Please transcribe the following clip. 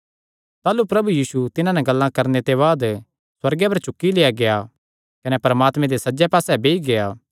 ताह़लू प्रभु यीशु तिन्हां नैं गल्लां करणे दे बाद सुअर्गे पर चुक्की लेआ गेआ कने परमात्मे दे सज्जे पास्से बेई गेआ